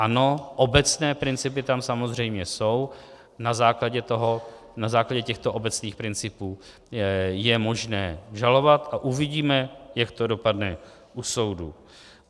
Ano, obecné principy tam samozřejmě jsou, na základě těchto obecných principů je možné žalovat a uvidíme, jak to dopadne u soudu.